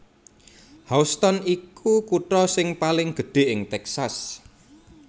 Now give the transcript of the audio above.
Houston iku kutha sing paling gedhé ing Texas